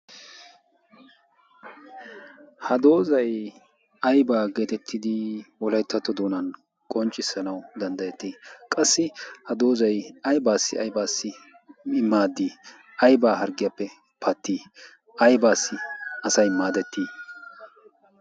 ha doozay aybaa geetettidi wolayttatto doonan qonccissanau danddayettii? qassi ha doozai aybaassi aibaassi imaaddii aybaa harggiyaappe pattii aibaassi asay maadettii?